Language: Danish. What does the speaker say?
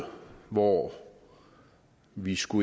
hvor vi skal